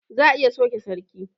Za a iya sauke sarki